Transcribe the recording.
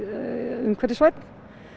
umhverfisvænn